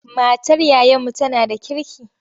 Matar yayanmu tana da kirki.